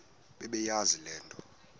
bebeyazi le nto